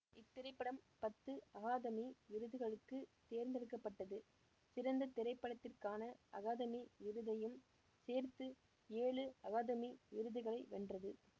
இத்திரைப்படம் பத்து அகாதமி விருதுகளுக்கு தேர்ந்தெடுக்க பட்டது சிறந்த திரைப்படத்திற்கான அகாதமி விருதையும் சேர்த்து ஏழு அகாதமி விருதுகளை வென்றது